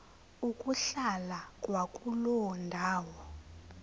ukuhlala kwakuloo ndawo